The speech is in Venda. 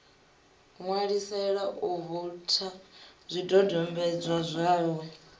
ṋwalisela u voutha zwidodombodzwa zwawe